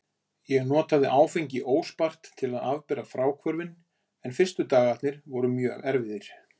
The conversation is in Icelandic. Ég notaði áfengið óspart til að afbera fráhvörfin en fyrstu dagarnir voru mjög erfiðir.